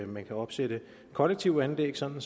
man kan opsætte kollektive anlæg sådan